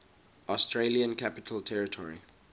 australian capital territory